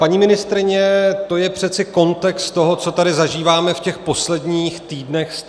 Paní ministryně, to je přeci kontext toho, co tady zažíváme v těch posledních týdnech stále.